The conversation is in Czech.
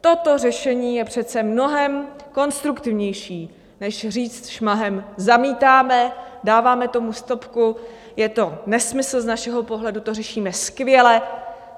Toto řešení je přece mnohem konstruktivnější než říct šmahem: Zamítáme, dáváme tomu stopku, je to nesmysl, z našeho pohledu to řešíme skvěle.